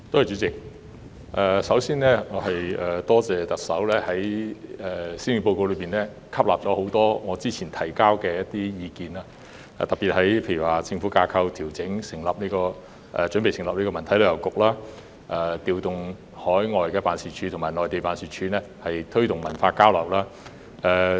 主席，首先我多謝特首在施政報告吸納了我早前提交的多項意見，特別是在調整政府架構、準備成立文化體育及旅遊局、調動海外及內地辦事處推動文化交流方面。